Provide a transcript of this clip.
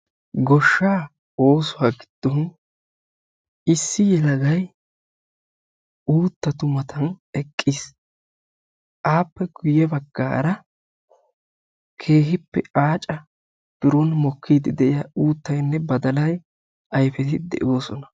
goshaa oosuwa giddon issi yelagay uuttatu matan eqqiis, appe ya bagaara keehi mokkida uutatinne badalay aacati de'oosona